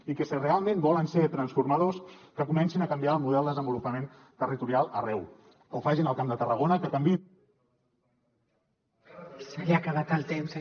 i que si realment volen ser transformadors que comencin a canviar el model de desenvolupament territorial arreu que ho facin al camp de tarragona que canviïn